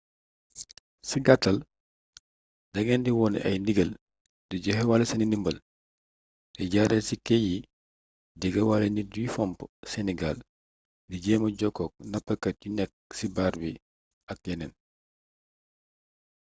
ci gaatal da ngeen di wone ay ndigal di joxewaale seeni ndimbal di jaaraale ci ké yi jegewaale nit yuy fomp seeni gaal di jéema jokkook napkat yu nekk ci baar bi ak yeneen